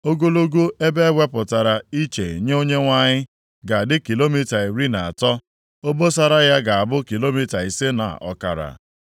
“Ogologo ebe a ewepụtara iche nye Onyenwe anyị ga-adị kilomita iri na atọ, obosara ya ga-abụ kilomita ise na ọkara.